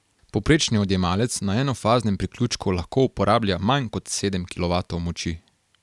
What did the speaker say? Povprečni odjemalec na enofaznem priključku lahko uporablja manj kot sedem kilovatov moči.